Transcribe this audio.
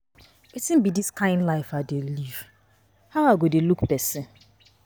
Wetin be dis kin life I dey live, how I go dey look person.